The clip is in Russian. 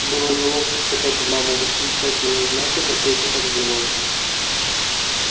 было неловко втыкать в маму восклицательные знаки но петя так делал